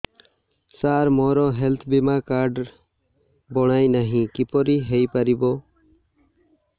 ସାର ମୋର ହେଲ୍ଥ ବୀମା କାର୍ଡ ବଣାଇନାହିଁ କିପରି ହୈ ପାରିବ